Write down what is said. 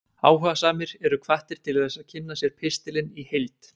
Áhugasamir eru hvattir til þess að kynna sér pistilinn í heild.